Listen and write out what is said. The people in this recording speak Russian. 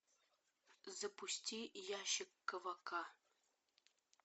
запусти ящик ковака